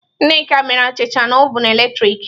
Nneka mere achicha na ovun eletrik.